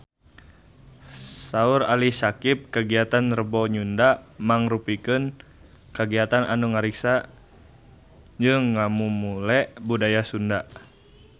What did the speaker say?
Saur Ali Syakieb kagiatan Rebo Nyunda mangrupikeun kagiatan anu ngariksa jeung ngamumule budaya Sunda